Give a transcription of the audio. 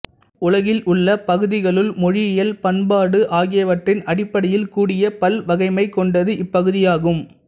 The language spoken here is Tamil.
உலகில் உள்ள பகுதிகளுள் மொழியியல் பண்பாடு ஆகியவற்றின் அடிப்படையில் கூடிய பல்வகைமை கொண்டது இப்பகுதியாகும்